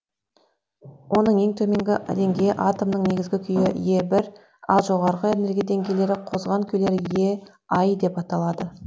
оның ең төменгі деңгейі атомның негізгі күйі е бір ал жоғарғы энергия деңгейлері қозған күйлер е ай деп аталады